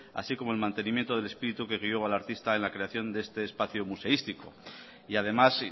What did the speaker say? así como el mantenimiento del espíritu que guió al artista en la creación de este espacio museístico y además